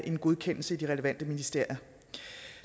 en godkendelse i de relevante ministerier